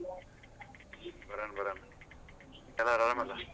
ಬರೋಣ ಬರೋಣ ಎಲ್ಲ ಆರಾಮ್ ಅಲ್ಲಾ.